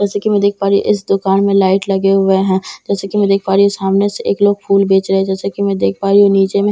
जैसे की मैं देख पा रही हूं इस दुकान में लाइट लगे हुए हैं जैसे की मैं देख पा रही हूं सामने से एक लोग फूल बेच रहे जैसे की मैं देख पा रही हूं नीचे में --